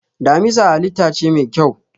Damisa halitta ce mai kyau.